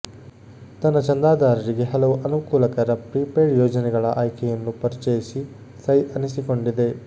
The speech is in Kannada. ತನ್ನ ಚಂದಾದಾರರಿಗೆ ಹಲವು ಅನುಕೂಲಕರ ಪ್ರೀಪೇಯ್ಡ್ ಯೋಜನೆಗಳ ಆಯ್ಕೆಯನ್ನು ಪರಿಚಯಿಸಿ ಸೈ ಅನಿಸಿಕೊಂಡಿದೆ